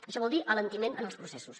això vol dir alentiment en els processos